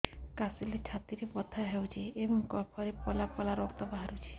କାଶିଲେ ଛାତି ବଥା ହେଉଛି ଏବଂ କଫରେ ପଳା ପଳା ରକ୍ତ ବାହାରୁଚି